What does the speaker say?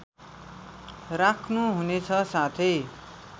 राख्नु हुनेछ साथै